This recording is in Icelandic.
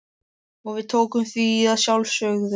Og við tókum því að sjálfsögðu.